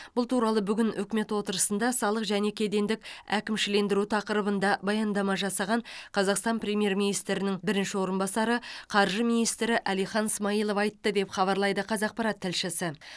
бұл туралы бүгін үкімет отырысында салық және кедендік әкімшілендіру тақырыбында баяндама жасаған қазақстан премьер министрінің бірінші орынбасары қаржы министрі әлихан смайылов айтты деп хабарлайды қазақпарат тілшісі